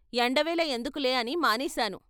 ఎండవేళ ఎందుకులే అని మానేశాను.